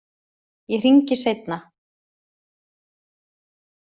Ég hringi seinna.